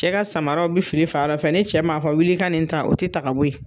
Cɛ ka samaraw bi fili fa dɔ fɛ, ni cɛ m'a fɔ wil'i ka nin ta o te ta ka bɔ ye.